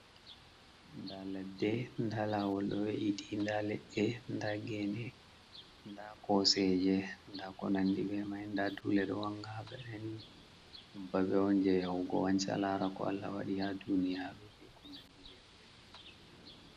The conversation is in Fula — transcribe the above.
Nda ladde, nda lawol ɗo we'iti. Nda leɗɗe, nda gene, nda koseje, nda ko nandi be mai. Nda dule ɗo wanga ha gaɗa ni. Ɗum babe on jei yaugo wanca, laara ko Allah waɗi ha duniyaru be ko nandi be mai.